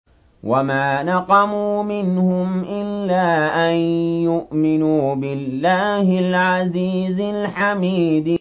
وَمَا نَقَمُوا مِنْهُمْ إِلَّا أَن يُؤْمِنُوا بِاللَّهِ الْعَزِيزِ الْحَمِيدِ